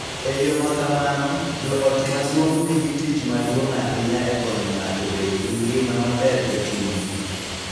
E yo ma kamano, joot maduong� nigi tich maduong� ahinya e konyo ng�ato bedo gi ngima maber e chuny .